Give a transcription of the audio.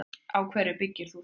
Á hverju byggir þú það?